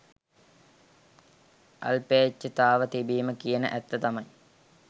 අල්පේච්ඡතාව තිබීම කියන ඇත්ත තමයි